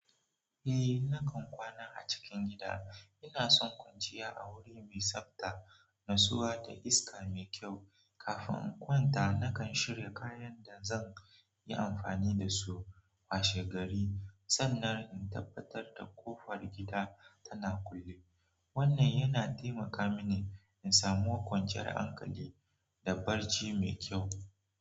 Eh, nakan kwana a cikin gida. Ina son kwanciya a wuri mai tsabta, natsuwa da iska mai kyau. Kafin in kwanta, nakan shirya kayan da zan yi amfani da su washe gari sannan in tabbatar da ƙofar gida tana kulle. Wannan yana taimaka mini in samu kwanciyar hankali da barci mai kyau.